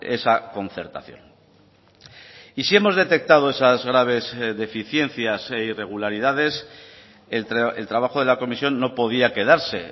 esa concertación y si hemos detectado esas graves deficiencias e irregularidades el trabajo de la comisión no podía quedarse